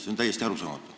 See on täiesti arusaamatu.